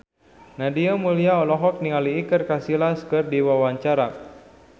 Nadia Mulya olohok ningali Iker Casillas keur diwawancara